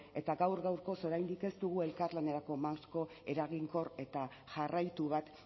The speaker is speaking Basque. eta gaur gaurkoz oraindik ez dugu elkarlanerako marko eraginkor eta jarraitu bat